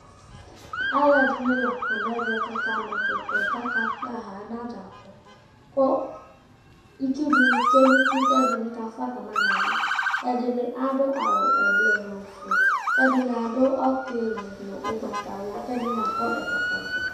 Alʋɛdɩnɩ la kɔ nʋ ɛvɛ kʋ akama ɛkʋtɛ kʋ akakpa anadzakɔ kʋ itsu dɩnɩ tsue nʋ uti kʋ ɛdɩnɩ kafʋa ka ma nʋ ava Ɛdɩnɩ adʋ awʋ ɛblɔ dʋ nʋ ofue kʋ ɛdɩnɩ adʋ ɔtɩlɩ nʋ ʋgbatawla, kʋ ɛdɩnɩ akɔ ɛkɔtɔvɛ